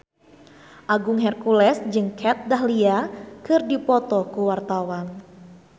Agung Hercules jeung Kat Dahlia keur dipoto ku wartawan